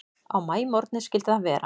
Á maímorgni skyldi það vera.